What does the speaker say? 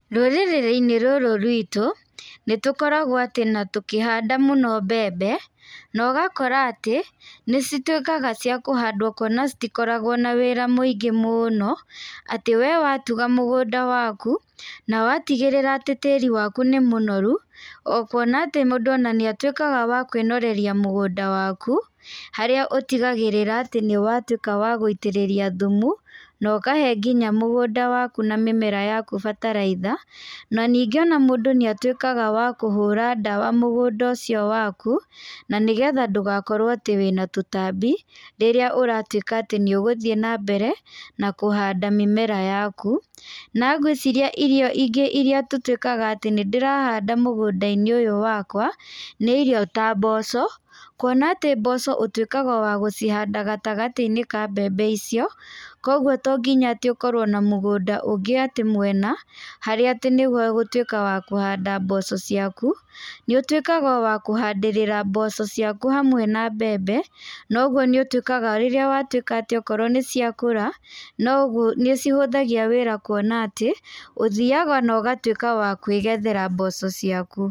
Rũrĩrĩrĩ-inĩ rũrũ rwitũ, nĩ tũkoragwo atĩ natũkĩhanda mũno atĩ mbembe, na ũgakora atĩ nĩ cituĩkaga cia kũhandwo kuona ciktiokoragwo na wĩra mũingĩ mũũno, atĩ we watuga mũgũnda waku, na watigĩrĩra atĩ tĩri waku nĩ mũnoru o kuona atĩ mũndũ ona nĩ atuĩkaga wa kwĩnoreria mũgũnda waku, harĩa ũtigagĩrĩra atĩ nĩ watuĩka wa gũitĩrĩria thumu, no kahe nginya mũgũnda waku na mĩmera yaku bataraitha, na ningĩ o mũndũ nĩ atuĩkaga wa kũhũra ndawa mũgũnda ũcio waku, na nĩgetha ndũgakorwo atĩ wĩna tũtambi, rĩrĩa ũratuĩka atĩ nĩ ũgũthiĩ na mbere na kũhanda mĩmera yaku, na ngwĩciiria irio ingĩ iria tũtuĩkaga atĩ nĩ ndĩrahanda mũgũnda-inĩ ũyũ wakwa, nĩ irio ta mboco, kuona atĩ mboco ũtuĩkaga wa gũcihanda gatagatĩ-inĩ ka mbembe icio, koguo tonginya atĩ ũkirwo na mũgũnda ũngĩ atĩ mwena, harĩa atĩ nĩho ũgũtuĩka wa kũhanda mboco ciaku, nĩ ũtuĩkaga wakũhandĩrĩra mboco ciaku hamwe na mbembe, noguo nĩ ũtuĩkaga rĩrĩa watuĩka atĩ okorwo nĩ ciakũra, noguo nĩ cihũthagia wĩra kuona atĩ, ũthiaga na ũgatuĩka wa kwegethera mboco ciaku.